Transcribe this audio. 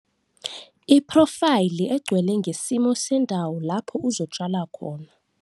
Iphrofayili egcwele ngesimo sendawo lapho uzotshala khona.